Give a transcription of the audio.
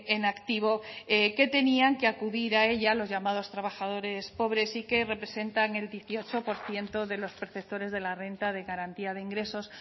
en activo que tenían que acudir a ella los llamados trabajadores pobres y que representan el dieciocho por ciento de los perceptores de la renta de garantía de ingresos